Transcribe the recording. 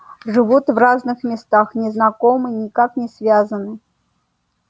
живут в разных местах не знакомы никак не связаны